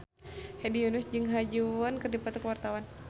Hedi Yunus jeung Ha Ji Won keur dipoto ku wartawan